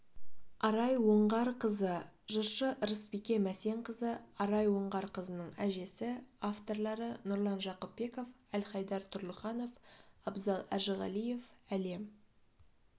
арай оңғарқызы жыршы ырысбике мәсенқызы арай оңғарқызының әжесі авторлары нұрлан жақыпбеков әлхайдар тұрлыханов абзал әжіғалиев әлем